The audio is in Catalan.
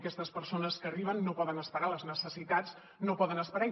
aquestes persones que arriben no poden esperar les necessitats no poden esperar